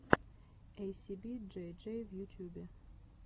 эйсиби джей джей в ютьюбе